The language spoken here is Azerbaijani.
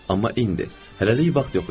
Amma indi hələlik vaxt yox idi.